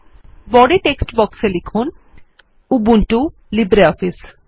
আইবডি text বক্সে লিখুন 160Ubuntu Libre office